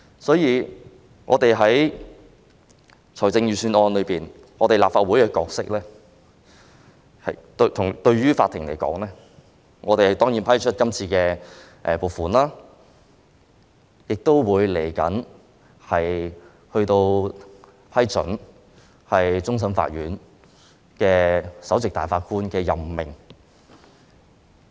對司法機構而言，我們立法會的角色是審批預算案中提出的撥款要求，以及稍後批准終審法院首席大法官的任命。